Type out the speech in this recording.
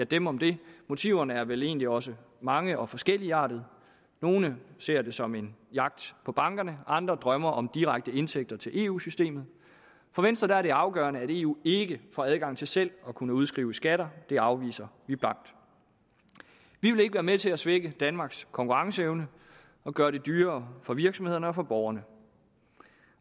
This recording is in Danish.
dem om det motiverne er vel egentlig også mange og forskelligartede nogle ser det som en jagt på bankerne andre drømmer om direkte indtægter til eu systemet for venstre er det afgørende at eu ikke får adgang til selv at kunne udskrive skatter det afviser vi blankt vi vil ikke være med til at svække danmarks konkurrenceevne og gøre det dyrere for virksomhederne og for borgerne